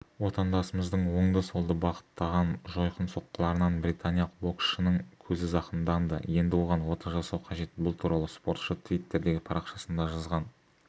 отандасымыздың оңды-солды бағыттаған жойқын соққыларынан британиялық боксшының көзі зақымданды енді оған ота жасау қажет бұл туралы спортшы твиттердегі парақшасында жазған